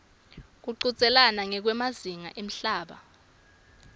kuchudzelana ngekwemazinga emhlaba